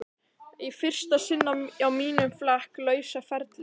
Í fyrsta sinn á mínum flekk lausa ferli.